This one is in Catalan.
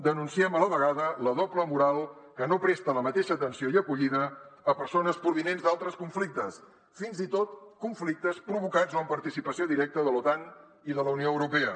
denunciem a la vegada la doble moral que no presta la mateixa atenció i acollida a persones pro·vinents d’altres conflictes fins i tot conflictes provocats o amb participació directa de l’otan i de la unió europea